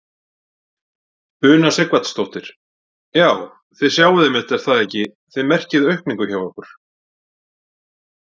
Una Sighvatsdóttir: Já, þið sjáið einmitt er það ekki, þið merkið aukningu hjá ykkur?